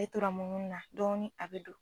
Ne tora munumunu na dɔɔnin a bɛ don